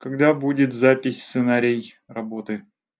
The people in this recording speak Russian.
когда будет запись сценарий работы